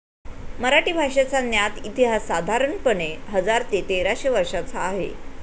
मराठी भाषेचा ज्ञात इतिहास साधारणपणे हजार ते तेराशे वर्षाचा आहे.